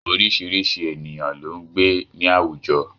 Orísìírísìí ènìyàn ló ń gbé ní àwùjọ